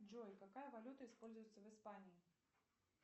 джой какая валюта используется в испании